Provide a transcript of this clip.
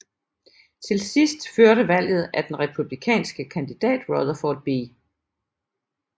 Til sidst førte valget af den republikanske kandidat Rutherford B